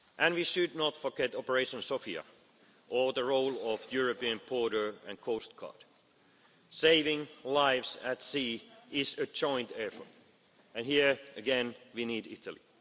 Italy. We should not forget Operation Sofia or the role of the European Border and Coast Guard Agency. Saving lives at sea is a joint effort and here again, we need